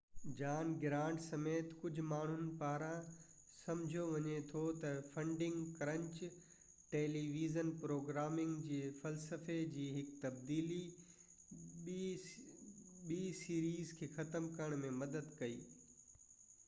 جان Grant سميت ڪجهه ماڻهن پاران سمجهيو وڃي ٿو ته فنڊنگ ڪرنچ ٽيليويزن پروگرامنگ جي فلسفي جي هڪ تبديلي ٻنهي سيريز کي ختم ڪرڻ ۾ مدد ڪئي